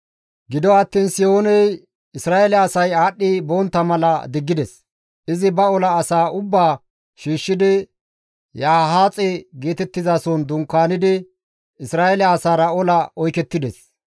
Gido attiin Sihooney Isra7eele asay aadhdhi bontta mala diggides; izi ba ola asaa ubbaa shiishshidi Yahaaxe geetettizason dunkaanidi Isra7eele asaara ola oykettides.